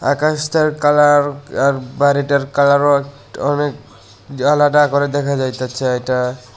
আকাশটার colour আর বাড়িটার কালারও অনেক আলাদা করে দেখা যাইতাছে এইটা।